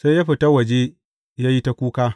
Sai ya fita waje, ya yi ta kuka.